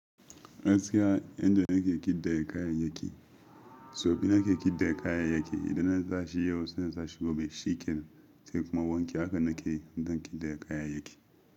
Gaskiya, yadda nake kidaya kayayyaki, so biyu nake kidaya kayayyaki. Idan na sashi yau, sai in sashi gobe. Shikenan zai kuma wanke haka nake dinkin da kayayyaki.